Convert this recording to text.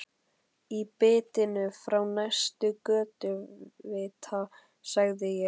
Í birtunni frá næsta götuvita sagði ég